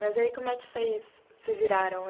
Mas e aí como é que vocês se viraram?